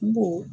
N go